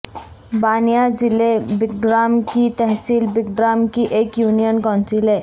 بانیاں ضلع بٹگرام کی تحصیل بٹگرام کی ایک یونین کونسل ہے